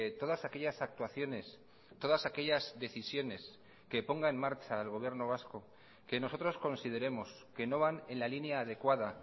todas aquellas actuaciones todas aquellas decisiones que ponga en marcha el gobierno vasco que nosotros consideremos que no van en la línea adecuada